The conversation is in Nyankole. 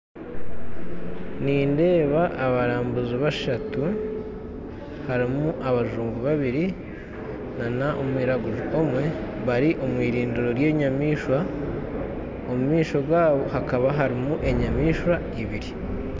Nindeeba abalambuzi bashatu harimu abajungu babiri na omwiraguju omwe bari omwirindiro rya enyamaishwa omumaisho gaabo hakaba harimu enyamaishwa ibiri.